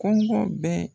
Kɔngɔ bɛɛ